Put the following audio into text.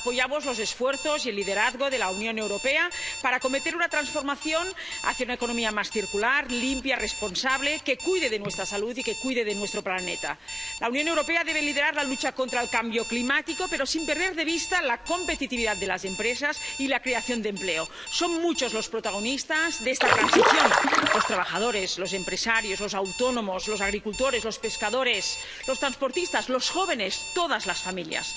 Señora presidenta, la lucha contra el cambio climático es una tarea de todos. Apoyamos los esfuerzos y el liderazgo de la Unión Europea para acometer una transformación hacia una economía más circular, limpia, responsable, que cuide de nuestra salud y que cuide de nuestro planeta. La Unión Europea debe liderar la lucha contra el cambio climático, pero sin perder de vista la competitividad de las empresas y la creación de empleo. Son muchos los protagonistas de esta transición los trabajadores, los empresarios, los autónomos, los agricultores, los pescadores, los transportistas, los jóvenes, todas las familias.